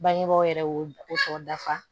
Bangebaaw yɛrɛ y'o o sɔkɔ dafa